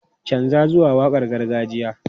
Canza zuwa waƙar gargajiya!